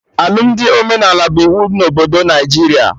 Alụmdi omenala bụ iwu na obodo Naijiria